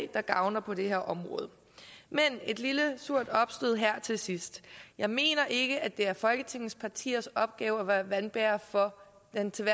der gavner på det her område men et lille surt opstød her til sidst jeg mener ikke at det er folketingets partiers opgave at være vandbærer for den til